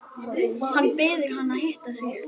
Hann biður hana að hitta sig.